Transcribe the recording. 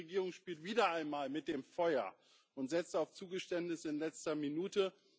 Die griechische Regierung spielt wieder einmal mit dem Feuer und setzt auf Zugeständnis in letzter Minute.